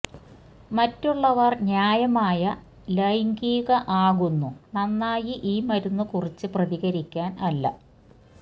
മറ്റുള്ളവർ ന്യായമായ ലൈംഗിക ആകുന്നു നന്നായി ഈ മരുന്ന് കുറിച്ച് പ്രതികരിക്കാൻ അല്ല